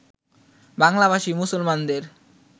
বাংলাভাষী মুসলমানদের